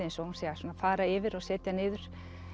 eins og hún sé að fara yfir og setja niður